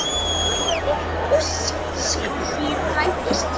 Viss um að ósk sín rætist.